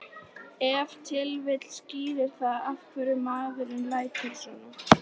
Ef til vill skýrir það af hverju maðurinn lætur svona.